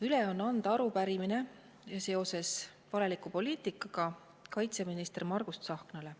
Üle on anda arupärimine valeliku poliitika kohta minister Margus Tsahknale.